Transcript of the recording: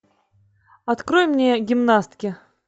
открой мне гимнастки